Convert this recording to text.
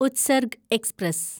Utsarg express